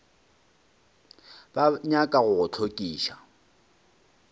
ba nyaka go go hlokiša